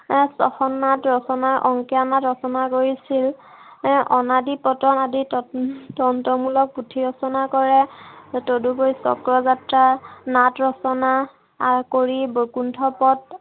এৰ ছখন নাট ৰচনা, অংকীয়া নাট ৰচনা কৰিছিল। এৰ অনাদি পতন আদি উম তন্ত্ৰ তন্ত্ৰমূলক পুথি ৰচনা কৰে, তদুপৰি চক্ৰযাত্ৰা নাট ৰচনা কৰি বৈকুণ্ঠ পথ